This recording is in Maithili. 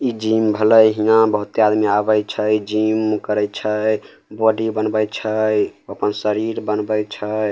इ जिम भलइ इहाँ बहोते आदमी आवे छै जिम करय छै बॉडी बनवय छै अपन शरीर बनवय छै।